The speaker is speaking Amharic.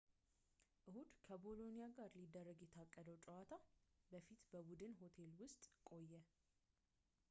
እሁድ ከቦሎኒያ ጋር ሊደረግ ከታቀደው ጨዋታ በፊት በቡድን ሆቴል ውስጥ ቆየ